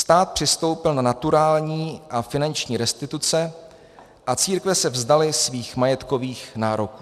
Stát přistoupil na naturální a finanční restituce a církve se vzdaly svých majetkových nároků.